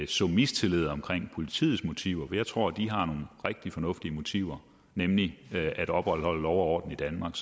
så mistillid om politiets motiver for jeg tror de har nogle rigtig fornuftige motiver nemlig at opretholde lov og orden i danmark